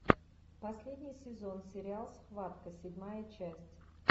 последний сезон сериал схватка седьмая часть